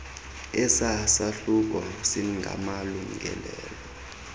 esa sahluko singamalungelo